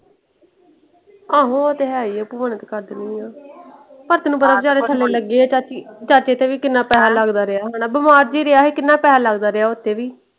ਆਹੋ ਉਹ ਤੇ ਹੈ ਹੀ ਆ ਮਦਦ ਕਰ ਦੇਣੀ ਆ। ਆ ਤੈਨੂੰ ਪਤਾ ਜ਼ਿਆਦਾ ਥੱਲੇ ਲੱਗੇ ਆ ਚਾਚੀ। ਚਾਚੇ ਤੇ ਵੀ ਕਿੰਨਾ ਪੈਸੇ ਲੱਗਦਾ ਰਿਹਾ। ਬਿਮਾਰ ਜੁ ਰਿਹਾ ਸੀ ਕਿੰਨਾ ਪੈਸਾ ਲੱਗਦਾ ਰਿਹਾ ਓਤੇ ਵੀ।